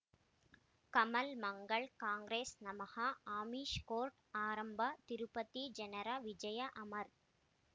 ಕಮಲ್ ಮಂಗಳ್ ಕಾಂಗ್ರೆಸ್ ನಮಃ ಅಮಿಷ್ ಕೋರ್ಟ್ ಆರಂಭ ತಿರುಪತಿ ಜನರ ವಿಜಯ ಅಮರ್